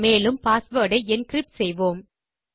மேலும் பாஸ்வேர்ட் ஐ என்கிரிப்ட் செய்வோம்